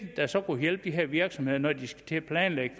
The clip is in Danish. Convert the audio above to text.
der så kunne hjælpe de her virksomheder når de skal til at planlægge